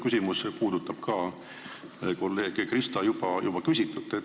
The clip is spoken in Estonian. Tegelikult puudutab minu küsimus kolleeg Krista küsitut.